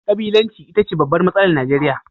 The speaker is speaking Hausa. Kabilanci ita ce babbar matsalar Najeriya